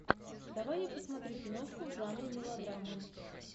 давай я посмотрю киношку в жанре мелодрама